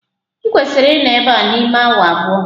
Ị kwesiri ịnọ ebe a n'ime awa abụọ!